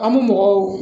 An bɛ mɔgɔw